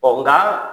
Ɔ nga